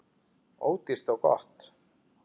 Ódýrt og gott.